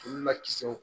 Olu lakisiw